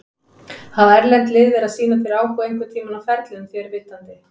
Hafa erlend lið verið að sýna þér áhuga einhverntímann á ferlinum þér að vitandi?